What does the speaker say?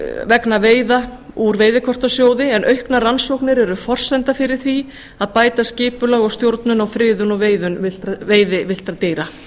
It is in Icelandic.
vegna veiða úr veiðikortasjóði en auknar rannsóknir eru forsenda fyrir því að bæta skipulag og stjórnun á friðun og veiðum villtra dýra